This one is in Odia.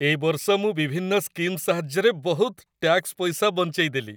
ଏ ବର୍ଷ ମୁଁ ବିଭିନ୍ନ ସ୍କିମ୍ ସାହାଯ୍ୟରେ ବହୁତ ଟ୍ୟାକ୍ସ ପଇସା ବଞ୍ଚେଇ ଦେଲି ।